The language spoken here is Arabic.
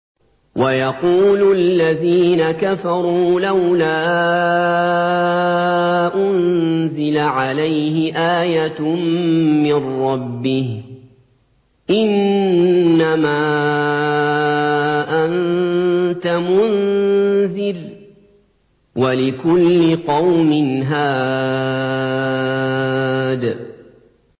وَيَقُولُ الَّذِينَ كَفَرُوا لَوْلَا أُنزِلَ عَلَيْهِ آيَةٌ مِّن رَّبِّهِ ۗ إِنَّمَا أَنتَ مُنذِرٌ ۖ وَلِكُلِّ قَوْمٍ هَادٍ